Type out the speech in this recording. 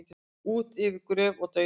Út yfir gröf og dauða